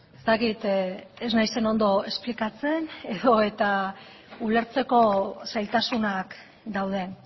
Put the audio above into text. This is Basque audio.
ez dakit ez naizen ondo esplikatzen edo eta ulertzeko zailtasunak dauden